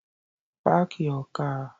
Park your car